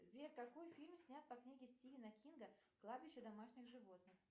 сбер какой фильм снят по книге стивена кинга кладбище домашних животных